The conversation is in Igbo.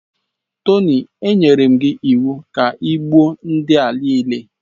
Tony, anyere m gị iwu ka i gbuo ndị a niile